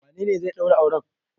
Wanene zai ɗaura auren?